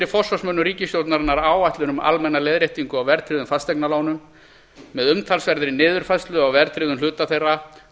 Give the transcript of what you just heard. forsvarsmönnum ríkisstjórnarinnar áætlun um almenna leiðréttingu á verðtryggðum fasteignalánum með umtalsverðri niðurfærslu á verðtryggðum hluta þeirra